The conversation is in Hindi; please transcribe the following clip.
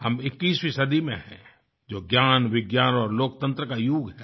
हम इक्कीसवीं सदी में हैं जो ज्ञानविज्ञान और लोकतंत्र का युग है